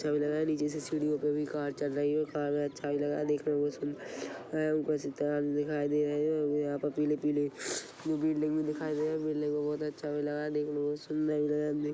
चाबी लगाया है नीचे से सीढ़ियों पे भी कार चल रही है कार मे चाबी लगाया हैदेखने मे सुन्दर ऊपर से तार भी दिखाई दे रहा है यहाँ पर पीले पीले बिल्डिंग दिखाई दे रहा हैदेखने मे बहुत अच्छा भी लग रहा हैदेखने मे बहुत सुन्दर भी लग रहा --